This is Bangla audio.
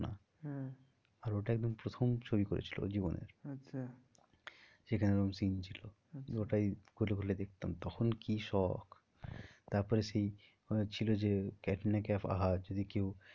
হ্যাঁ আর ওটা একদম প্রথম ছবি করেছিল ওর জীবনের। আচ্ছা যেখানে ওরম scene ছিল। আচ্ছা ওটাই খুলে খুলে দেখতাম তখন কি শোক তারপরে সেই ছিল যে ক্যাটরিনা কাইফ আহা যদি কেউ